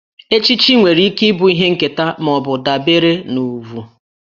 Echichi nwere ike ịbụ ihe nketa ma ọ bụ dabere na ugwù